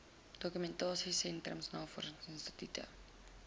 dokumentasie sentrums navorsingsinstitute